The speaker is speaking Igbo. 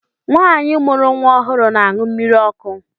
Nwaanyi mụrụ nwa ọhụrụ na-aṅụ mmiri ọkụ.